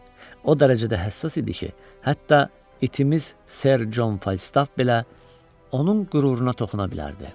O dərəcədə həssas idi ki, hətta itimiz Ser Con Falstaf belə onun qüruruna toxuna bilərdi.